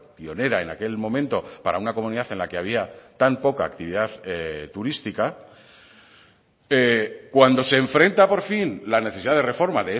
pionera en aquel momento para una comunidad en la que había tan poca actividad turística cuando se enfrenta por fin la necesidad de reforma